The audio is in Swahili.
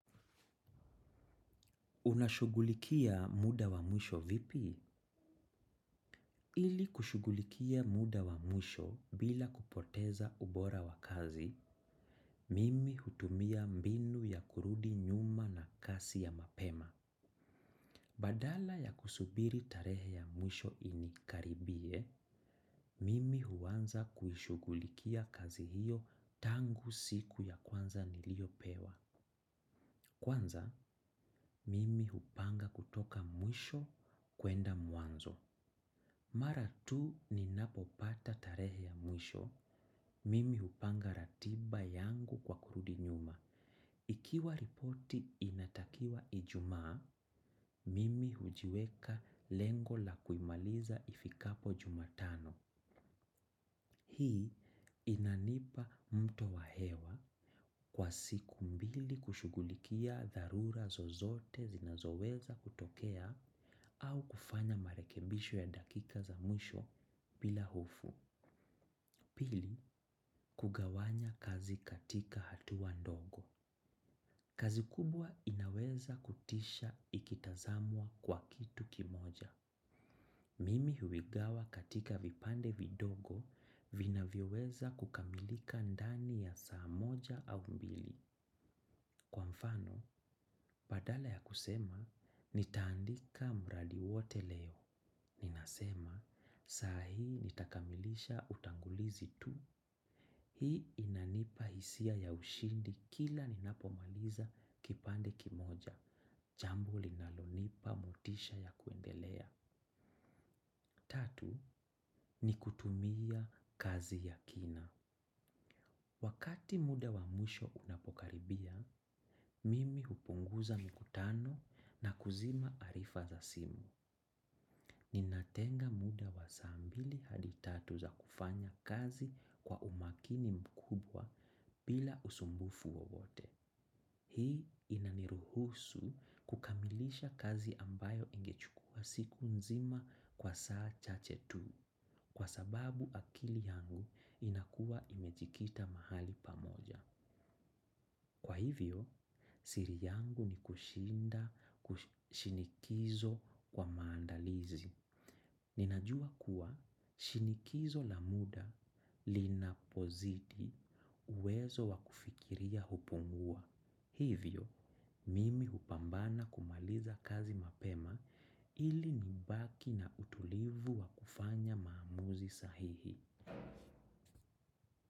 Unashugulikia muda wa mwisho vipi? Ili kushugulikia muda wa mwisho bila kupoteza ubora wa kazi, mimi hutumia mbinu ya kurudi nyuma na kasi ya mapema. Badala ya kusubiri tarehe ya mwisho inikaribie, mimi huanza kuishugulikia kazi hiyo tangu siku ya kwanza niliyopewa. Kwanza, mimi hupanga kutoka mwisho kwenda mwanzo. Mara tu ninapopata tarehe ya mwisho, mimi hupanga ratiba yangu kwa kurudi nyuma. Ikiwa ripoti inatakiwa ijumaa, mimi hujiweka lengo la kuimaliza ifikapo jumatano. Hii inanipa mto wa hewa kwa siku mbili kushughulikia dharura zozote zinazoweza kutokea au kufanya marekebisho ya dakika za mwisho bila hofu. Pili, kugawanya kazi katika hatuwa ndogo. Kazi kubwa inaweza kutisha ikitazamwa kwa kitu kimoja. Mimi huigawa katika vipande vidogo vinavyoweza kukamilika ndani ya saa moja au mbili. Kwa mfano, badala ya kusema, nitaandika mradi wote leo. Ninasema, saa hii nitakamilisha utangulizi tu. Hii inanipa hisia ya ushindi kila ninapo maliza kipande kimoja. Jambo linalonipa motisha ya kuendelea. Tatu ni kutumia kazi ya kina. Wakati muda wa mwisho unapokaribia, mimi hupunguza mikutano na kuzima arifa za simu. Ni natenga muda wa saa mbili hadi tatu za kufanya kazi kwa umakini mkubwa bila usumbufu wowote. Hii inaniruhusu kukamilisha kazi ambayo ingechukua siku nzima kwa saa chache tu kwa sababu akili yangu inakuwa imejikita mahali pamoja. Kwa hivyo, siri yangu ni kushinda kushinikizo kwa maandalizi. Ninajua kuwa shinikizo la muda linapozidi uwezo wa kufikiria hupungua. Hivyo, mimi hupambana kumaliza kazi mapema ili nimbaki na utulivu wakufanya maamuzi sahihi.